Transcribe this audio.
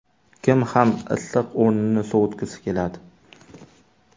Kim ham issiq o‘rnini sovutgisi keladi?